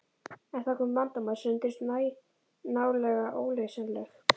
En þá kom upp vandamál sem reyndust nálega óleysanleg.